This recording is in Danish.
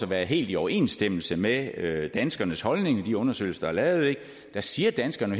være helt i overensstemmelse med danskernes holdning i de undersøgelser der er lavet der siger danskerne